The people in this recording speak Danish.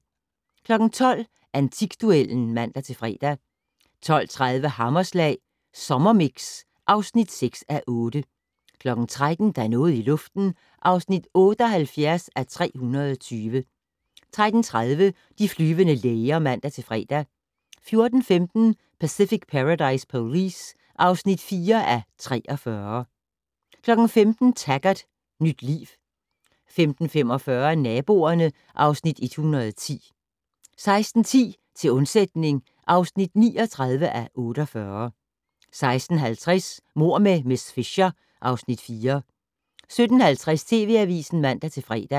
12:00: Antikduellen (man-fre) 12:30: Hammerslag Sommermix (6:8) 13:00: Der er noget i luften (78:320) 13:30: De flyvende læger (man-fre) 14:15: Pacific Paradise Police (4:43) 15:00: Taggart: Nyt liv 15:45: Naboerne (Afs. 110) 16:10: Til undsætning (39:48) 16:50: Mord med miss Fisher (Afs. 4) 17:50: TV Avisen (man-fre)